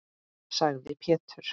sagði Pétur.